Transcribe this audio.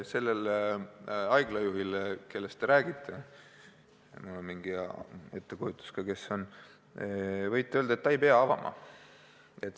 Sellele haiglajuhile, kellest te räägite – mul on ka mingi ettekujutus, kes see on –, võite öelda, et ta ei pea apteeki avama.